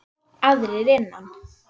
Aðrir innan